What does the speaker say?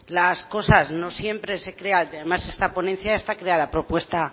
las cosas no siempre se crea y además esta ponencia está creada a propuesta